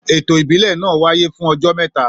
Ètò ìbílẹ̀ náà wáyé fún ọjọ́ mẹ́ta